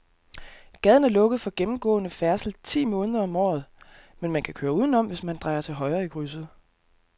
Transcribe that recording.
Gaden er lukket for gennemgående færdsel ti måneder om året, men man kan køre udenom, hvis man drejer til højre i krydset.